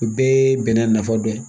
O bɛɛ ye bɛnɛ nafa dɔ ye